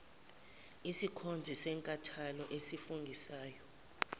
isikhonzi senkantolo esifungisayo